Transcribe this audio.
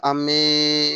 An bɛ